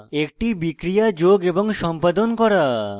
একটি বিক্রিয়া যোগ এবং সম্পাদন করা